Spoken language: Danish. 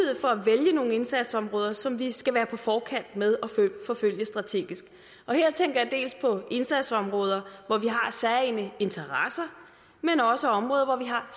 indsatsområder som vi skal være på forkant med at forfølge strategisk her tænker jeg dels på indsatsområder hvor vi har særegne interesser men også områder hvor vi har